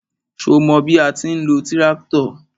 Ṣo mọ bí a ti ń lo tíráktọ̀?